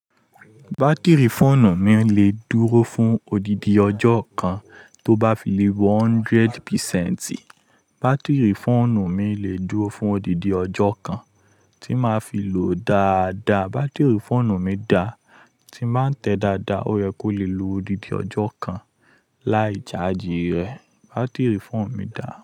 Bátìrì fóònù mi lè dúró fún odidi ọjọ́ kan tó bá fi lé wọ hundred percent. Bátìrì fóònù mi lè dúró fún odidi ọjọ́ kan tí màá fi lò dáadáa. Bátìrì fóònù mi dá tí màá tẹ dáadáa, ó yẹ kó lè lu odidi ọjọ́ kan láì jáàjí rẹ̀. Bátìrì fóò mi dà.